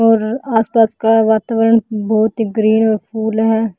और आसपास का वातावरण बहोत ही ग्रीन फूल है।